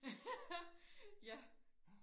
ja